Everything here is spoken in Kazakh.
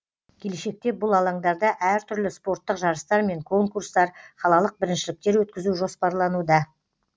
келешекте бұл алаңдарда әр түрлі спорттық жарыстар мен конкурстар қалалық біріншіліктер өткізу жоспарлануда